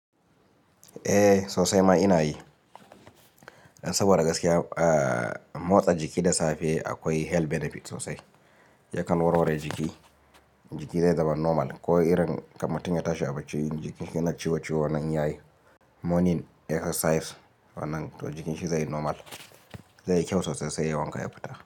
Eh sosai ma ina yi. Dan saboda gaskiya motsa jiki da safe akwai health benefit sosai. Yakan warware jiki, jiki zai zama normal. Ko irin kan mutum ya tashi a bacci in jikin shi yana ciwo-ciwo nan yayi morning exercise wannan to jikin shi zai normal. Zai yi kyau sosai sai yai wanka ya fita.